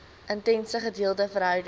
intense gedeelde verhouding